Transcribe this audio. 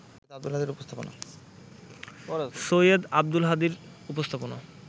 সৈয়দ আব্দুল হাদীর উপস্থাপনা